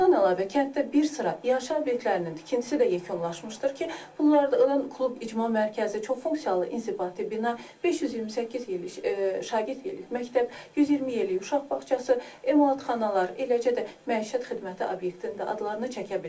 Bundan əlavə, kənddə bir sıra yaşa obyektlərinin tikintisi də yekunlaşmışdır ki, bunlardan klub icma mərkəzi, çoxfunksiyalı inzibati bina, 528 şagirdlik məktəb, 120 yerlik uşaq bağçası, emalatxanalar, eləcə də məişət xidməti obyektinin adlarını çəkə bilərik.